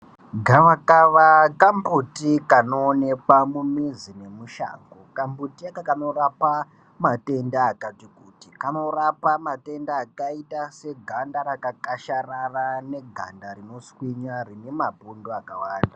Gavakava kambuti kano onekwa mumizi ne mushango kamuti aka kanorapa matenda akati kuti kanorapa matenda kati kanorapa matenda akalita seganda rakakasharara neganda rinoshinya rine mapundu akawanda.